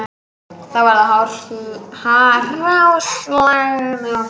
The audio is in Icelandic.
Það var hráslagalegt og kalt